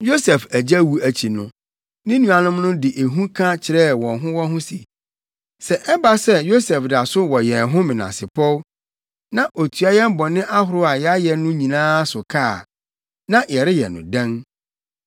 Yosef agya wu akyi no, ne nuanom no de ehu ka kyerɛɛ wɔn ho wɔn ho se, “Sɛ ɛba sɛ Yosef da so wɔ yɛn ho menasepɔw, na otua yɛn bɔne ahorow a yɛayɛ no nyinaa so ka a, na yɛreyɛ no dɛn?”